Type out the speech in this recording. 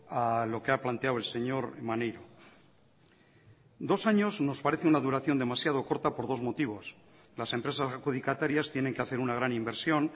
a lo que ha planteado el señor maneiro dos años nos parece una duración demasiado corta por dos motivos las empresas adjudicatarias tienen que hacer una gran inversión